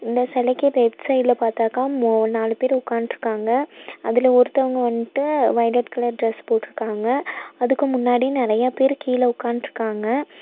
இந்த செலைக்கு லெஃப்ட் சைடுல பாத்தாக்கா மூ நாலு பேர் உக்கான்ட்ருக்காங்க அதுல ஒருத்தவங்க வன்ட்டு வொய்லட் கலர் டிரஸ் போட்ருக்காங்க அதுக்கு முன்னாடி நெறைய பேர் கீழ உக்கான்ட்ருக்காங்க.